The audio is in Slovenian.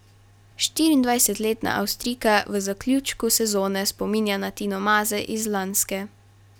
Štiriindvajsetletna Avstrijka v zaključku sezone spominja na Tino Maze iz lanske.